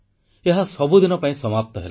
ଏହା ସବୁଦିନ ପାଇଁ ସମାପ୍ତ ହେଲା